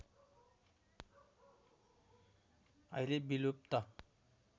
अहिले विलुप्त